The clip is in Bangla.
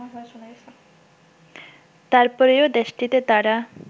তারপরেও দেশটিতে তারা